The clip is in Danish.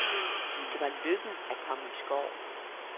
Det var lykken at komme i skoven.